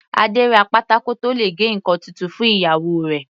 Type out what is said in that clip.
Adé ra pátákó tó le gé ǹkan titun fún ìyàwó rẹ̀.